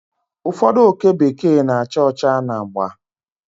Ụfọdụ oke bekee na-acha ọcha na agba